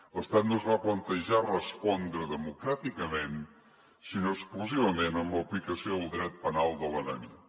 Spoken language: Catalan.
l’estat no es va plantejar respondre democràticament sinó exclusivament amb l’aplicació del dret penal de l’enemic